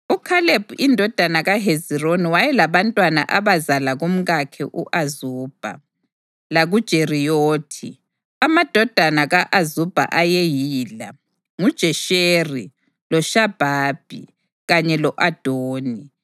UKhalebi indodana kaHezironi wayelabantwana abazala kumkakhe u-Azubha (lakuJeriyothi). Amadodana ka-Azubha ayeyila: nguJesheri, loShobhabi, kanye lo-Adoni.